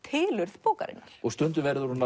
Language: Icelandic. tilurð bókarinnar stundum verður hún